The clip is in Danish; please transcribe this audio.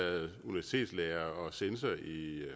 lærer